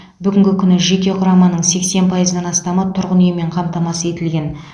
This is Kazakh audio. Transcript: бүгінгі күні жеке құраманың сексен пайыздан астамы тұрғын үймен қамтамасыз етілген